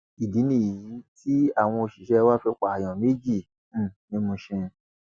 ìdí nìyí táwọn òṣìṣẹ wa fi pààyàn méjì um ní mushin